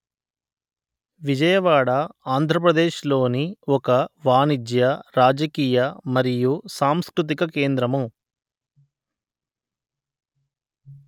విజయవాడ ఆంధ్ర ప్రదేశ్ లోని ఒక వాణిజ్య రాజకీయ మరియు సాంస్కృతిక కేంద్రము